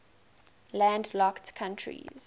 landlocked countries